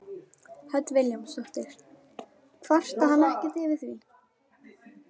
Hödd Vilhjálmsdóttir: Kvarta hann ekkert yfir því?